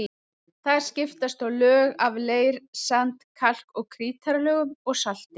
Þar skiptast á lög af leir-, sand-, kalk- og krítarlögum og salti.